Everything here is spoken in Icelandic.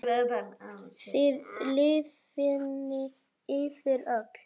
Það lifnaði yfir öllu.